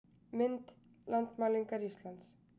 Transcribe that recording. Mynd: Landmælingar Íslands